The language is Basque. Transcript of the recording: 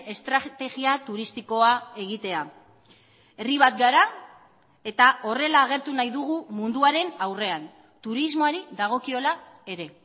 estrategia turistikoa egitea herri bat gara eta horrela agertu nahi dugu munduaren aurrean turismoari dagokiola ere